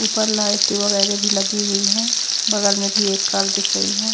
ऊपर लाईट वगैर भी लगीं हुई हैं बगल में भी एक कार दिख रही है।